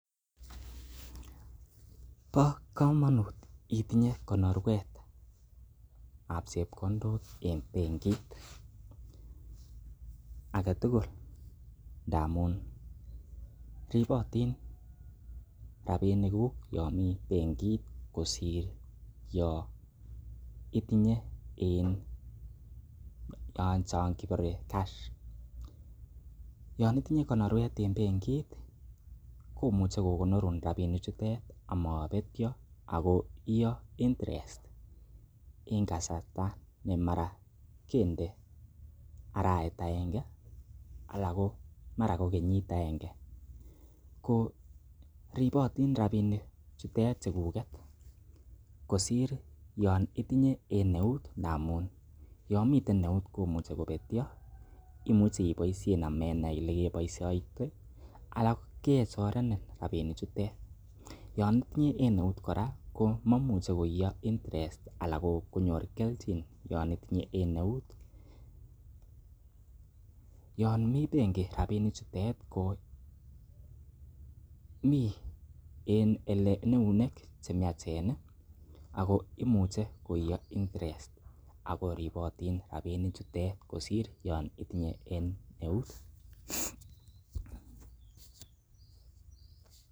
Bo komonut itinye konorwet ab chepkondok en benkit, agetugul ndamun ripotin rabinikuk yon mi bengit kosir yon itinye en eut chon kibore cash . Yon itinye konorwet en bengit komuche kogonorun rabinikchuto amabetyo ak koiyo interest en kasarta namara kende arawet agenge anan ko mara ko kenyit agenge. Ko ribotin rabinik chuto chukuget kosir yon itinye en eut ndamun yomiten eut komuche kobetyo, imuch eiboisien amenai ele keboisioite ala kechorenin rabinik chutet. Yon itinye en eut kora komamuche kooiyo interest anan konyor kelchin yon itinye en eut yon mi benki rabinik chutet ko mi en ele eunek che miachen ago imuche koiye interest ago ripotin rabinik chutet kosir yon itinye en eut.